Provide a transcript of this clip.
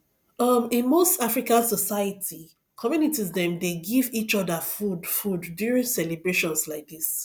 um in most african society communities dem dey give each other food food during celebrations like this